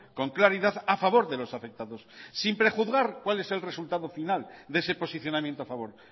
con claridad a favor de los afectados sin prejuzgar cuál es el resultado final de ese posicionamiento a favor